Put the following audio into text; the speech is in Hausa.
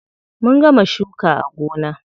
Mun gama shuka a gona.